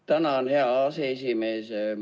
Tänan, hea aseesimees!